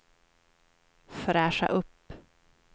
fräscha upp